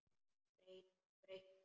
Breitt bros.